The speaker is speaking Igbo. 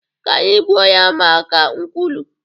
Ka anyị gbuo ya maka nkwulu